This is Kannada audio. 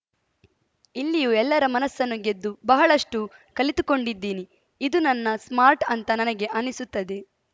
ಇಲ್ಲಿಯೂ ಎಲ್ಲರ ಮನಸ್ಸನ್ನು ಗೆದ್ದು ಬಹಳಷ್ಟುಕಲಿತುಕೊಂಡಿದ್ದೀನಿ ಇದು ನನ್ನ ಸ್ಮಾರ್ಟ್‌ ಅಂತ ನನಗೆ ಅನಿಸುತ್ತದೆ